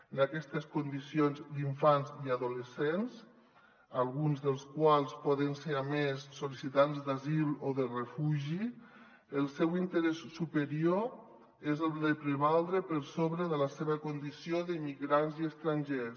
en aquestes condicions d’infants i adolescents alguns dels quals poden ser a més sol·licitants d’asil o de refugi el seu interès superior és el de prevaldre per sobre de la seva con·dició d’immigrants i estrangers